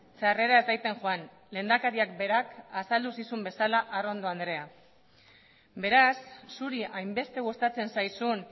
txarrera ez daiten joan lehendakariak berak azaldu zizuen bezala arrondo andrea beraz zuri hainbeste gustatzen zaizun